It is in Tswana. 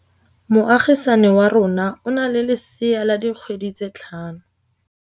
Moagisane wa rona o na le lesea la dikgwedi tse tlhano.